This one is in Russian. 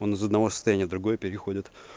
он из одного состояния в другое переходит